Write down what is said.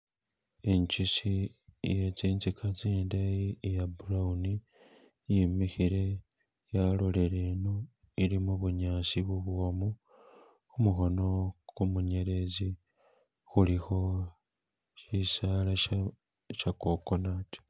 Ichisi ye ziziga zindeyi iya brown yimikhile yalolele ino ili mubunyasi bubwomu kumukhono gumunyelezi kulikho shisaala sha coconut.